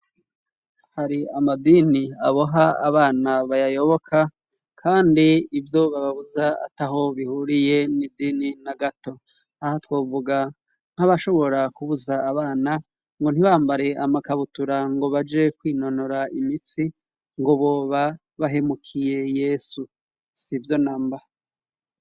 Hari amadini aboha abana bayayoboka kandi ibyo bababuza ataho bihuriye n'idini na gato aho twovuga nk'abashobora kubuza abana ngo ntibambare amakabutura ngo baje kwinonora imitsi ngo boba bahemukiye yesu sivyo namba.